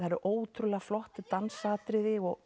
ótrúlega flott dansatriði og